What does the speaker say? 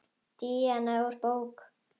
Díana úr bók.